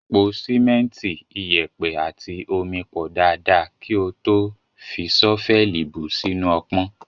Po sìmẹ́ntì, iyẹ̀pẹ̀ àti omi pọ̀ dáadáa kí o tó fi ṣọ́fẹ́ẹ̀lì bù ú sínú ọpọ́n.